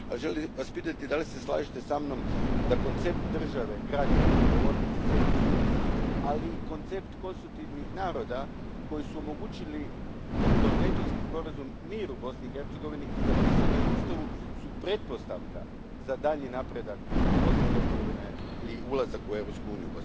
Želio bih vas pitati da li se slažete sa mnom da su koncept države građana, po logici Sejdić Finci, ali i koncept konstitutivnih naroda koji su omogućili kroz Dejtonski sporazum mir u Bosni i Hercegovini, što je i zapisano u Ustavu, pretpostavka za daljnji napredak Bosne i Hercegovine i njezin ulazak u Europsku uniju?